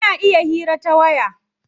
Ana iya hira ta waya.